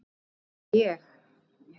að vera ég.